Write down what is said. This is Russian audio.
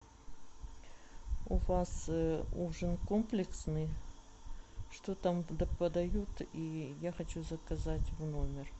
у вас ужин комплексный что там подают и я хочу заказать в номер